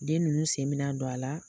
Den nunnu sen mi na don a la